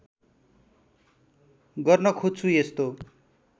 गर्न खोज्छु यस्तो